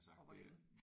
Og hvor længe